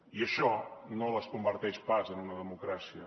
i això no les converteix pas en una democràcia